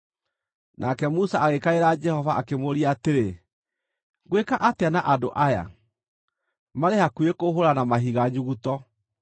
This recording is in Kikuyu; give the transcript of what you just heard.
Nake Musa agĩkaĩra Jehova akĩmũũria atĩrĩ, “Ngwĩka atĩa na andũ aya? Marĩ hakuhĩ kũhũũra na mahiga nyuguto.”